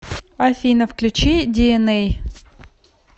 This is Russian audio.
афина включи диэнэй